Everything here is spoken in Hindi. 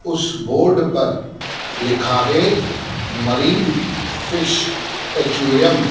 उस बोर्ड पर लिखा है मरीन फिश एक्वेरियम ।